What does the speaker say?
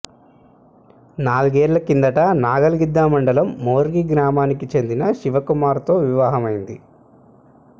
నాలుగేళ్ల కిందట నాగల్గిద్ద మండలం మోర్గి గ్రామానికి చెందిన శివకుమార్తో వివాహమైంది